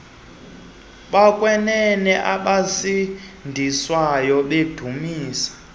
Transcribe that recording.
bokwenene abasindiswayo bedumisa